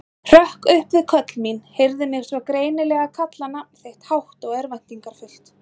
Hrökk upp við köll mín, heyrði mig svo greinilega kalla nafn þitt, hátt og örvæntingarfullt.